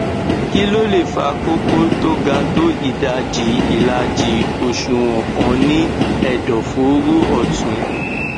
kí ló lè fa kókó tó ga tó ìdajì ìlàjì òṣùwọn kan ní ẹdọfóró ọtún